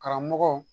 Karamɔgɔ